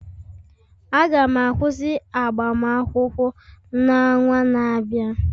Aga m akwụsị agbamakwụkwọ n'ọnwa na-abịa